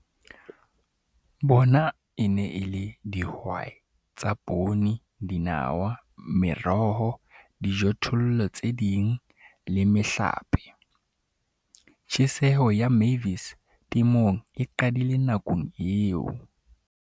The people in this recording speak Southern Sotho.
Bona e ne e le dihwai tsa poone, dinawa, meroho, dijothollo tse ding le mehlape. Tjheseho ya Mavis temong e qadile nakong eo.